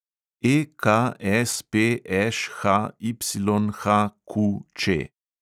EKSPŠHYHQČ